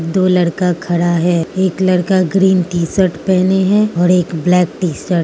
दो लड़का खड़ा है एक लड़का ग्रीन टी शर्ट पहने हैं और एक ब्लैक टी शर्ट ।